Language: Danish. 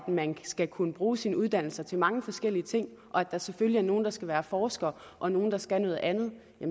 om man skal kunne bruge sin uddannelse til mange forskellige ting og om der selvfølgelig er nogle der skal være forskere og nogle der skal noget andet